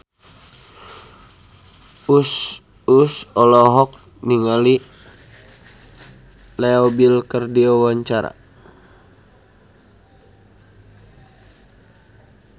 Uus olohok ningali Leo Bill keur diwawancara